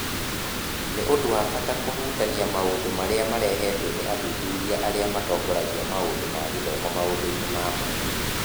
Nĩ ũndũ wa bata kũhutania maũndũ marĩa marehetwo nĩ athuthuria arĩa matongoragia maũndũ ma gĩthomo maũndũ-inĩ ma mwanya.